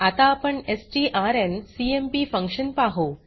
आता आपण STRNCMP function पाहु